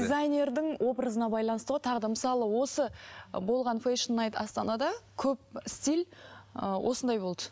дзайнердің образына байланысты ғой тағы да мысалы осы болған фэшн найт астанада көп стиль ыыы осындай болды